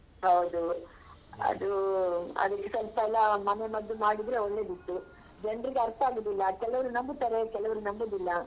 ಹೌದು ಅದೂ ಅದಕ್ಕೆ ಸ್ವಲ್ಪ ಎಲ್ಲ ಮನೆಮದ್ದು ಮಾಡಿದ್ರೆ ಒಳ್ಳೇದಿತ್ತು ಜನ್ರಿಗೆ ಅರ್ಥ ಆಗುದಿಲ್ಲ ಕೆಲವರು ನಂಬುತ್ತಾರೆ ಕೆಲವರು ನಂಬುದಿಲ್ಲ.